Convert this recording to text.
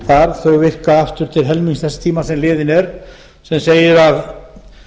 þar þau virka aftur til þess tíma sem liðinn er sem segir að